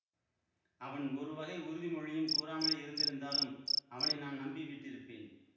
அவன் ஒருவகை உறுதிமொழியும் கூறாமலே இருந்திருந்தாலும் அவனை நான் நம்பிவிட்டிருப்பேன்